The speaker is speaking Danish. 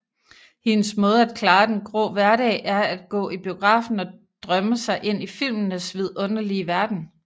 Hendes måde at klare den grå hverdag er at gå i biografen og drømme sig ind i filmenes vidunderlige verden